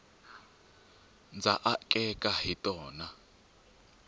ndza akeka hi tona